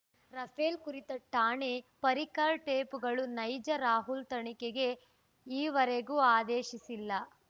Rafale ಕುರಿತ ರಾಣೆ ಪರ್ರಿಕರ್‌ ಟೇಪ್‌ಗಳು ನೈಜ ರಾಹುಲ್‌ ತನಿಖೆಗೆ ಈವರೆಗೂ ಆದೇಶಿಸಿಲ್ಲ